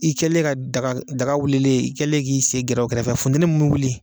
I kɛlen ka daga wulilen , i kɛlen k'i sen gɛrɛ o kɛrɛfɛ funtɛni mun bɛ wuli